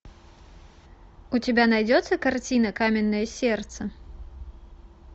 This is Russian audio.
у тебя найдется картина каменное сердце